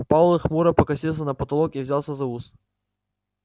пауэлл хмуро покосился на потолок и взялся за ус